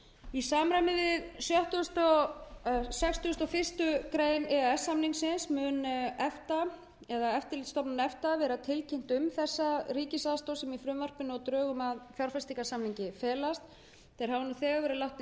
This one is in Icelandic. í samræmi við sextugustu og fyrstu grein e e s samningsins verður efta eða eftirlitsstofnun efta tilkynnt um þá ríkisaðstoð sem felst í frumvarpinu og drögum að fjárfestingarsamningi þeir hafa nú þegar verið látnir